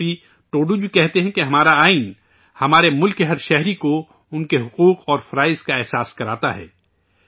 سری پتی ٹوڈو جی کہتے ہیں کہ ہمارا آئین ہمارے ملک کے ہر ایک شہری کو ان کے حقوق اور فرائض کا احساس دلاتا ہے